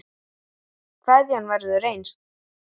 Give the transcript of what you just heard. Kveðjan verður eins.